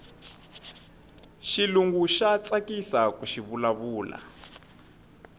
xilungu xa tsakisaku xivula vula